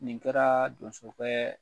Nin kɛra donso kɛ